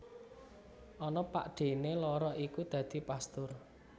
Ana pakdhéné loro iku dadi pastur